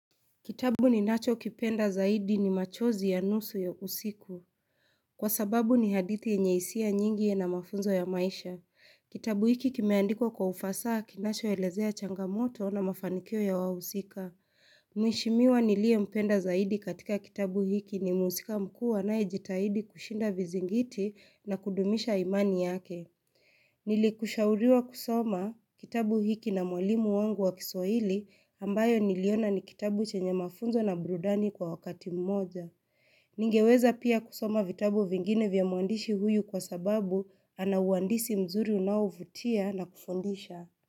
Kitabu ninachokipenda zaidi ni machozi ya nusu ya usiku. Kwa sababu ni hadithi yenye hisia nyingi yana mafunzo ya maisha. Kitabu hiki kimeandikwa kwa ufasaha kinachoelezea changamoto na mafanikio ya wahusika. Mheshimiwa niliyempenda zaidi katika kitabu hiki ni mhusika mkuu anayejitahidi kushinda vizingiti na kudumisha imani yake. Nilishauriwa kusoma kitabu hiki na mwalimu wangu wa kiswahili ambacho niliona ni kitabu chenye mafunzo na burudani kwa wakati mmoja. Ningeweza pia kusoma vitabu vingine vya mwandishi huyu kwa sababu ana uandishi mzuri unaovutia na kufundisha.